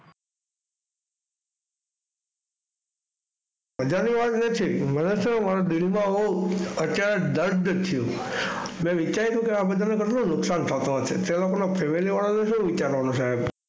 મજાની વાત નથી. મને તો શું દિલમાં હોઉ અત્યારે દર્દ છે. મી વિચાર્યું કે આ બધાને કેટલું નુકસાન થતું હશે. તે લોકોના Family વાળાનું શું વિચારવાનું સાહેબ?